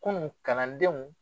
Kunun kalandenw